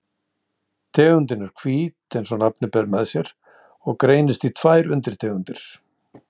Tegundin er hvít eins og nafnið ber með sér og greinist í tvær undirtegundir.